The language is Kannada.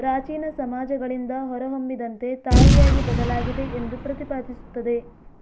ಪ್ರಾಚೀನ ಸಮಾಜಗಳಿಂದ ಹೊರಹೊಮ್ಮಿದಂತೆ ತಾಯಿಯಾಗಿ ಬದಲಾಗಿದೆ ಎಂದು ಪ್ರತಿಪಾದಿಸುತ್ತದೆ